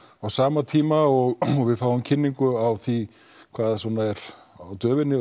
á sama tíma og við fáum kynningu á því hvað er á döfinni